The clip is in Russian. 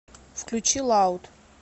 включи лауд